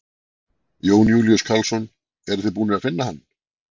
Jón Júlíus Karlsson: Eruð þið búnir að finna hann?